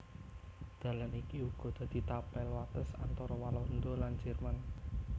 Dalan iki uga dadi tapel wates antara Walanda lan Jerman